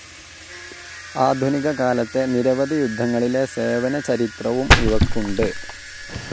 ആധുനിക കാലത്തെ നിരവധി യുദ്ധങ്ങളിലെ സേവന ചരിത്രവും ഇവയ്ക്കുണ്ട്.